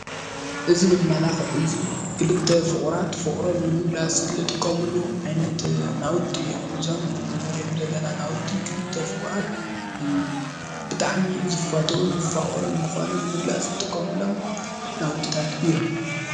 እዚ መመላኽዒ እዚ ክልተ ፍቁራት ፍቅሮም ንምግላፅ ልጥቀምሉ ዓይነት ናውቲ እዩም ፡፡ እዞም ንሪኦም ዘለና ናውቲ ክልተ ፍቁራት ብጣዕሚ ዝፋተውን ዝፋቀሩን ምዃኖም ንምግላፅ ዝጥቀሙሎም ናውቲታት እዮም፡፡